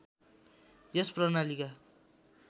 यस प्रणालीका